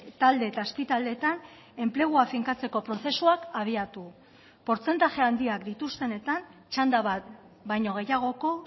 talde eta azpitaldeetan enplegua finkatzeko prozesuak abiatu portzentaje handiak dituztenetan txanda bat baino gehiagoko